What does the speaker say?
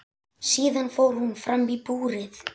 Síðan fór hún fram í búrið.